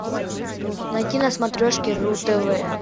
найти на смотрешке ру тв